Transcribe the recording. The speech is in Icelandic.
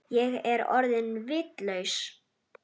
Ég er orðin vitlaus